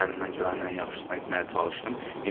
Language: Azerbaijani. Əlimdən gələnin ən yaxşısını etməyə çalışdım.